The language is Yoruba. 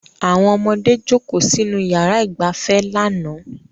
Awọn ọmọde joko sinu yàrá ìgbafẹ́ lana